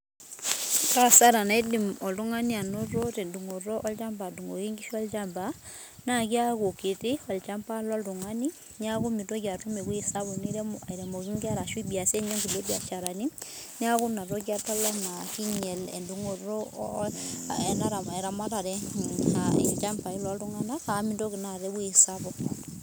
Kaasara eidim oltungani anoto tendungoto olchamba adungoki inkishu olchamba naakeaku kiti olchamba lontungani niakumeitoli atum ewueji sapuk nirem aitemoki inkera ashua iyasie ninye inkulie biasharani niaku inatoki adol anaa keinyiala endungoto aaah eramatare olchambai looltunganka amu mintoki naata ewueji sapuk